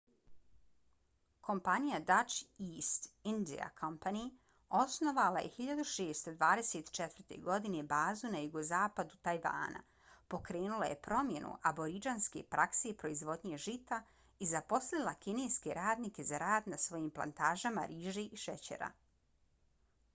kompanija dutch east india company osnovala je 1624. godine bazu na jugozapadu tajvana pokrenula je promjenu aboridžinske prakse proizvodnje žita i zaposlila kineske radnike za rad na svojim plantažama riže i šećera